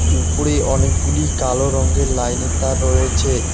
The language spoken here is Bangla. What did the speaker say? উপরে অনেকগুলি কালো রঙ্গের লাইনের তার রয়েছে।